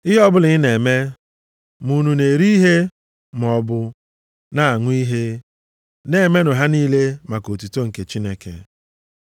Ihe ọbụla ị na-eme, ma unu na-eri ihe maọbụ na-aṅụ ihe, na-emenụ ha niile maka otuto nke Chineke.